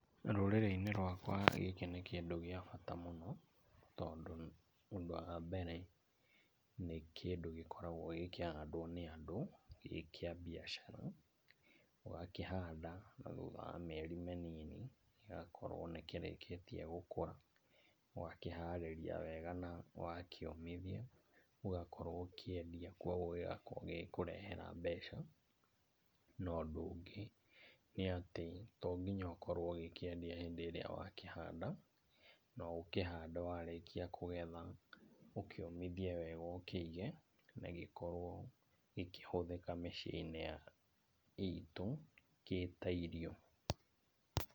Rũrĩrĩ-inĩ rwakwa gĩkĩ nĩ kĩndũ gĩa bata mũno tondũ ũndũ wa mbere, nĩ kĩndũ gĩkoragwo gĩkĩhandwo nĩ andũ gĩ kĩa mbiacara. Ũgakĩhanda na thutha wa mĩeri mĩnini gĩgakorwo nĩkĩrikĩtie gũkũra. Ũgakĩharĩria wega na wakĩũmithia ũgakorwo ũkĩendia kuoguo gĩgakorwo gĩgĩkũrehera mbeca. Na ũndũ ũngĩ nĩatĩ, to nginya ũkorwo ũgĩkĩendia hĩndĩ ĩrĩa wakĩhanda, no ũkĩhande warĩkia kũgetha ũkĩũmithie wega ũkĩige, na gĩkorwo gĩkĩhũthĩka mĩciĩ-inĩ ya itũ kĩ ta irio.